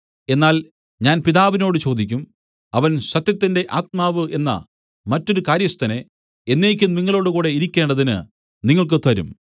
എന്നാൽ ഞാൻ പിതാവിനോട് ചോദിക്കും അവൻ സത്യത്തിന്റെ ആത്മാവ് എന്ന മറ്റൊരു കാര്യസ്ഥനെ എന്നേക്കും നിങ്ങളോടുകൂടെ ഇരിക്കേണ്ടതിന് നിങ്ങൾക്ക് തരും